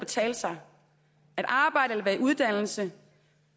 betale sig at arbejde eller være i uddannelse